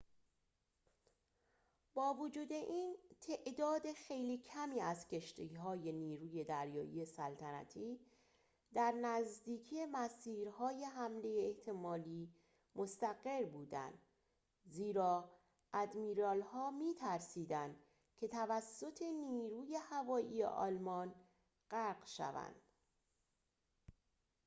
با وجود این تعداد خیلی کمی از کشتی‌های نیروی دریایی سلطنتی در نزدیکی مسیرهای حمله احتمالی مستقر بودند زیرا آدمیرال‌ها می‌ترسیدند که توسط نیروی هوایی آلمان غرق شوند